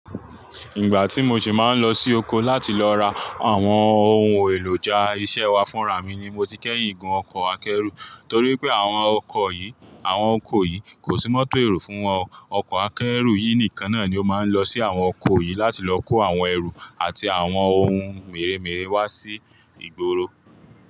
Ìgbà tí mo ṣe máa ń lọ sí oko láti lọ ra àwọn ohun èlò ja iṣẹ́ wa fúnra mi ni mo ti kẹ́yìn gun ọkọ̀ akẹ́rù torí pé àwọn ọkọ̀ yìí, àwọn oko yìí kò sí mọ́tò èrò fún wọn. Ọkọ̀ akẹ́rù yìí nìkan náà ni ó máa ń lọ sí àwọn oko yìí láti lọ kó àwọn ẹrù àti àwọn ohun mèremère wá sí ìgboro.